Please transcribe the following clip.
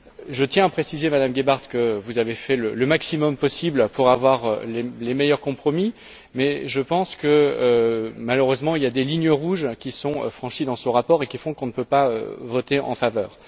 Je tiens à préciser, Madame Gebhardt, que vous avez fait le maximum pour avoir les meilleurs compromis, mais je pense que, malheureusement, il y a des lignes rouges qui sont franchies dans ce rapport et qui font qu'on ne peut pas voter en sa faveur.